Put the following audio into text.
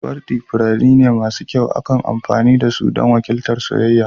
Wardi furanni ne masu kyau, ana amfani da su don wakiltar soyayya.